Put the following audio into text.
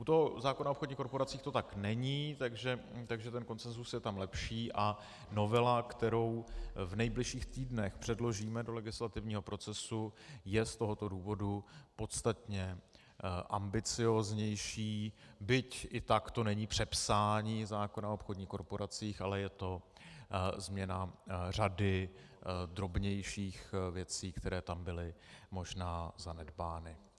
U toho zákona o obchodních korporacích to tak není, takže ten konsenzus je tam lepší a novela, kterou v nejbližších týdnech předložíme do legislativního procesu, je z tohoto důvodu podstatně ambicióznější, byť i tak to není přepsání zákona o obchodních korporacích, ale je to změna řady drobnějších věcí, které tam byly možná zanedbány.